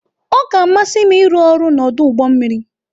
Ọ ga-amasị m ịrụ ọrụ n'ọdụ ụgbọ mmiri.